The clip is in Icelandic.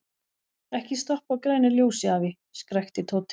Ekki stoppa á grænu ljósi, afi! skrækti Tóti.